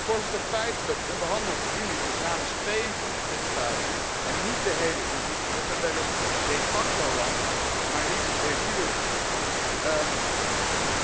Voorzitter, feitelijk onderhandelt de Unie dus namens 22 lidstaten, en niet namens de héle Unie, met een wellicht de facto land, maar niet de jure,